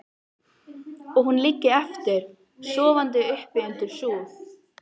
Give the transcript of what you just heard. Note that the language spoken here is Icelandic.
Og hún liggi eftir, sofandi uppi undir súð.